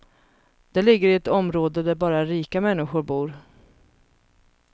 Det ligger i ett område där bara rika människor bor.